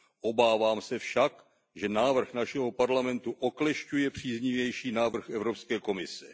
Obávám se však, že návrh našeho Parlamentu oklešťuje příznivější návrh Evropské komise.